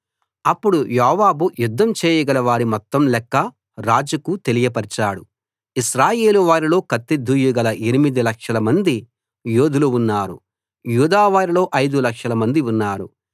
అప్పుడు యోవాబు యుద్ధం చేయగల వారి మొత్తం లెక్క రాజుకు తెలియపరిచాడు ఇశ్రాయేలు వారిలో కత్తి దూయగల 8 లక్షలమంది యోధులు ఉన్నారు యూదావారిలో 5 లక్షలమంది ఉన్నారు